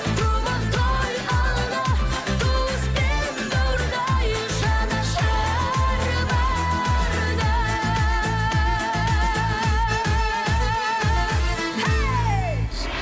думан той алда туыс пен бауырдай жанашыр барда хей